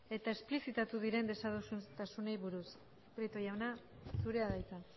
eta esplizitatu diren desadostasunei buruz prieto jauna zurea da hitza